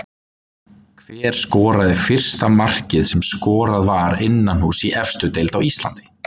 Hver skoraði fyrsta markið sem skorað var innanhúss í efstu deild á Íslandi?